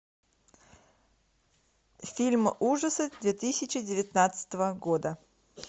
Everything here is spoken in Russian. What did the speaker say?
фильм ужасов две тысячи девятнадцатого года